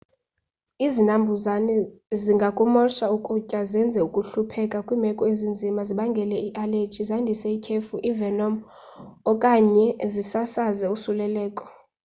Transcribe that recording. izinambuzane zingakumosha ukutya zenze ukuhlupheka kwimeko ezinzima zibangele ialeji zandise ithyefu ivenom okanye zisasaze ulosuleleko